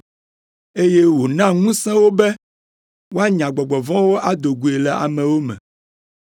eye wòna ŋusẽ wo be woanya gbɔgbɔ vɔ̃wo do goe le amewo me.